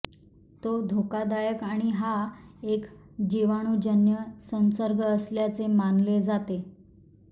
तो धोकादायक आणि हा एक जीवाणूजन्य संसर्ग असल्याचे मानले जाते